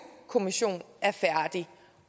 kommission er færdig